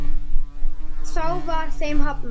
Þá var þeim hafnað.